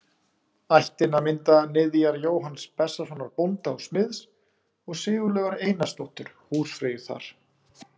Ættina mynda niðjar Jóhanns Bessasonar bónda og smiðs og Sigurlaugar Einarsdóttur húsfreyju þar.